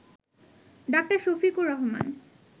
ডা. শফিকুর রহমান